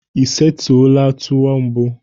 Ị setụla tuwo mbụ?